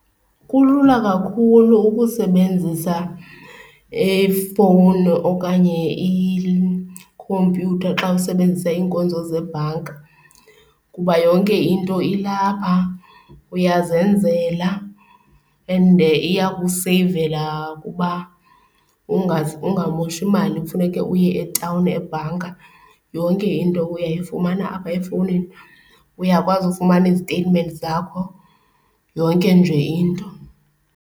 Kulula kakhulu ukusebenzisa ifowuni okanye ikhompyutha xa usebenzisa iinkonzo zebhanka kuba yonke into ilapha uyazenzela and iya kuseyivela ukuba ungamoshi imali kufuneke uye etawuni ebhanka, yonke into uyayifumana apha efowunini. Uyakwazi ufumana iziteyitimenti zakho, yonke nje into.